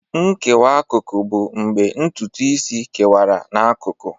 Nkewa akụkụ bụ mgbe ntutu isi kewara n'akụkụ.